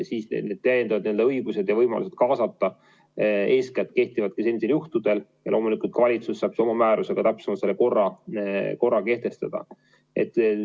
Sellised täiendavad õigused ja võimalused kaasata kehtivad eeskätt teatud juhtudel ja loomulikult valitsus saab oma määrusega täpsemalt selle korra kehtestada.